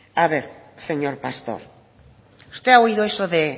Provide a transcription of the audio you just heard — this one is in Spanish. a ver señor pastor usted ha oído eso de